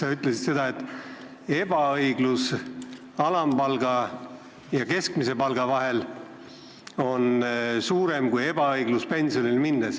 Sa ütlesid, et ebaõiglus, mis valitseb alampalga ja keskmise palga vahel, on suurem kui ebaõiglus, mis valitseb pensionide vahel.